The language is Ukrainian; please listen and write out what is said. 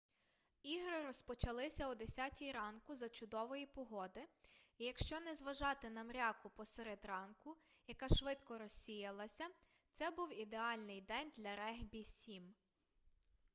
ігри розпочалися о 10 ранку за чудової погоди і якщо не зважати на мряку посеред ранку яка швидко розсіялася це був ідеальний день для регбі-7